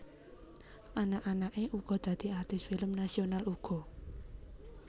Anak anake uga dadi artis film nasional uga